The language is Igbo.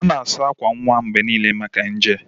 A na-asa akwa nwa mgbe niile maka nje.